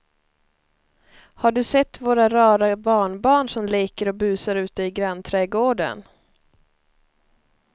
Har du sett våra rara barnbarn som leker och busar ute i grannträdgården!